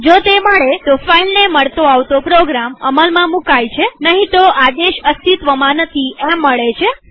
જો તે મળે તોફાઈલને મળતો આવતો પ્રોગ્રામ અમલમાં મુકાય છેનહીં તો આદેશ અસ્તિત્વમાં નથી એમ મળે છે